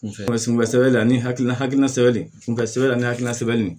Sunbɛ sɛbɛn a ni hakilina hakilina sɛbɛn de kunbɛn sɛbɛ la ani hakilina sɛbɛn de